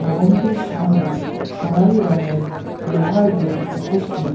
ভবনটির সামনে সোনালী রঙের লোহার গেট উপস্থিত।